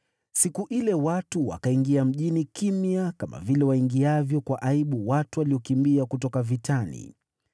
Siku ile watu wakaingia mjini kimya kama vile waingiavyo kwa aibu watu waliokimbia kutoka vitani.